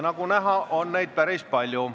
Nagu näha, on neid päris palju.